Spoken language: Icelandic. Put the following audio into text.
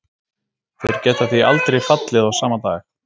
Þeir geta því aldrei fallið á sama dag.